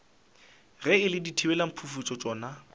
ge e le dithibelamphufutšo tšona